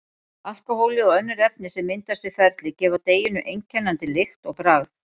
Alkóhólið og önnur efni sem myndast við ferlið gefa deiginu einkennandi lykt og bragð.